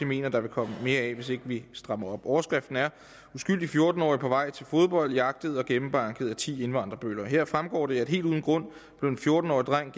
mener der vil komme mere af hvis ikke vi strammer op overskriften er uskyldig fjorten årig på vej til fodbold jagtet og gennembanket af ti indvandrer bøller her fremgår det helt uden grund blev en fjorten årig dreng